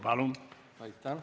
Palun!